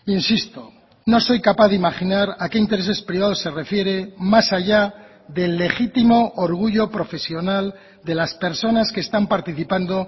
insisto no soy capaz de imaginar a qué intereses privados se refiere más allá del legítimo orgullo profesional de las personas que están participando